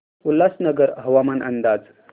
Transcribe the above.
उल्हासनगर हवामान अंदाज